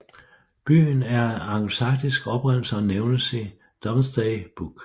Byen er af angelsaksisk oprindelse og nævnes i Domesday Book